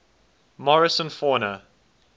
morrison fauna